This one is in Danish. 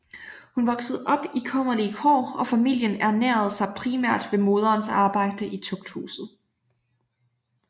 Hun voksede op i kummerlige kår og familien ernærede sig primært ved moderens arbejde i Tugthuset